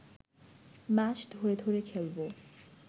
match ধরে ধরে খেলব